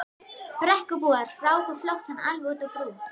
Brekkubúar ráku flóttann alveg út á brú.